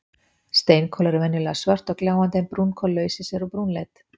Steinkol eru venjulega svört og gljáandi en brúnkol laus í sér og brúnleit.